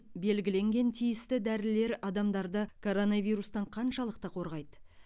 белгіленген тиісті дәрілер адамдарды коронавирустан қаншалықты қорғайды